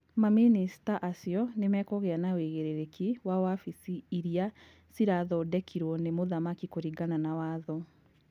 Mamĩnĩcita acio nĩmekũgĩa na ũigĩrĩrĩki wa wabici irĩa cirathondekirwo nĩ mũthamaki kũringana na watho.